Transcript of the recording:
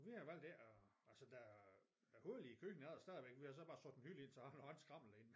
Vi har valgt ikke at altså der der er hullet i køkkenet er der stadigvæk vi har så bare sat en hylde ind så har vi alt skramlet derinde